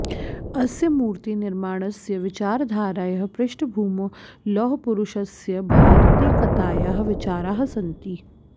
अस्य मूर्तिनिर्माणस्य विचारधारायाः पृष्ठभूमौ लौहपुरुषस्य भारतैकतायाः विचाराः सन्ति